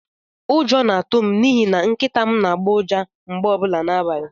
Ụjọ na-atụ m n'ihi na Nkịta m n'agbọ ụja mgbe ọbụla n'abalị.